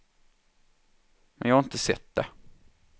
Men jag har inte sett det.